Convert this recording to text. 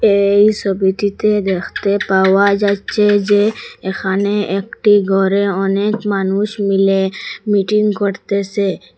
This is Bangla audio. এই সোবিটিতে দেখতে পাওয়া যাচ্ছে যে এখানে একটি গরে অনেক মানুষ মিলে মিটিং করতেসে।